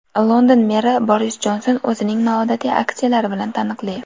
London meri Boris Jonson o‘zining noodatiy aksiyalari bilan taniqli.